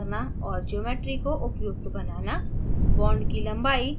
force field set up करना और geometry को उपयुक्त बनाना